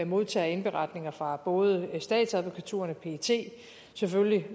modtager indberetninger fra både statsadvokaturerne pet selvfølgelig